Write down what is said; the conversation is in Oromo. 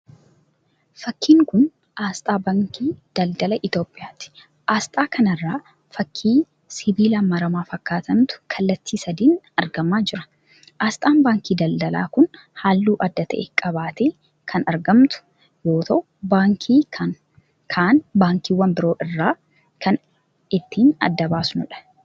Fakkiin kun asxaa baankii daldala Itiyoopiyaati. Asxaa kanarra fakkii sibiila maramaa fakkaatantu kallattii sadiin argamaa jira. Asxaan baankii daldalaa kun halluu adda ta'e qabattee kan argamtu, yoo ta'u baankii kana baankiiwwan biroo irraa kan ittin adda baasnuudha.